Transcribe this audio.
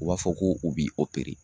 U b'a fɔ ko u b'i